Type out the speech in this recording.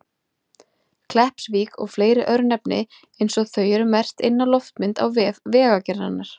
Kleppsvík og fleiri örnefni eins og þau eru merkt inn á loftmynd á vef Vegagerðarinnar.